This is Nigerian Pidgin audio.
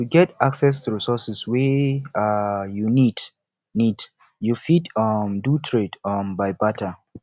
to get access to resources wey um you need need you fit um do trade um by barter